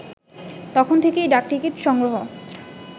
তখন থেকেই ডাকটিকিট সংগ্রহ